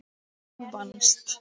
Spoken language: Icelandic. Þú vannst.